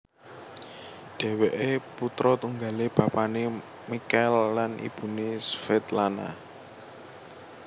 Dhèwèké putra tunggalé bapané Michael lan ibuné Svetlana